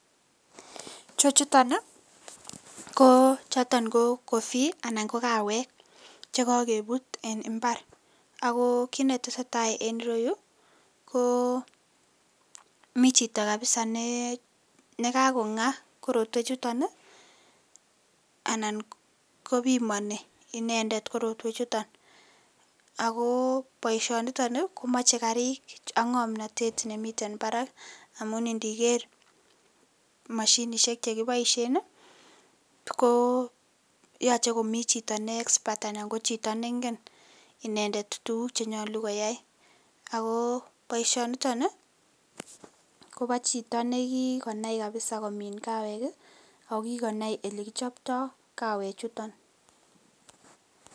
Chechuton ko choton ko coffee anan ko kawek chekokebut en imbar ak ko kiit neteseta en ireyuu ko mii chito kabisaa nee kakong'aa korotwe chuton anan kopimoni inendet korotwechuton ak ko boishoniton komoche kariik ak ng'omnotet nemiten barak amun indiker moshinishek chekiboishen ko yoche komii chito nee expert anan ko chito neng'en inendet tukuk chenyolu koyai ak ko boishoniton kobo chito nekikonai kabisa komin kawek ak ko kikonai elekichopto kawechuton.